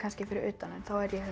fyrir utan þá er ég